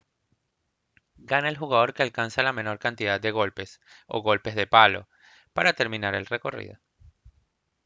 gana el jugador que alcanza la menor cantidad de golpes o golpes de palo para terminar el recorrido